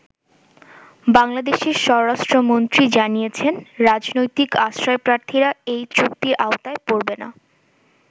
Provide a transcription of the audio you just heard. বাংলাদেশের স্বরাষ্ট্রমন্ত্রী জানিয়েছেন, রাজনৈতিক আশ্রয়প্রার্থীরা এই চুক্তির আওতায় পরবে না।